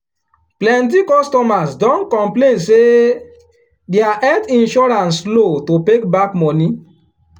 plenty customers don complain say their health insurance slow to pay back money.